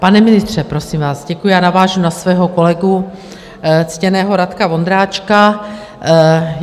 Pane ministře, prosím vás - děkuji, já navážu na svého kolegu ctěného Radka Vondráčka.